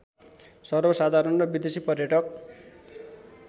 सर्वसाधारण र विदेशी पर्यटक